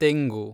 ತೆಂಗು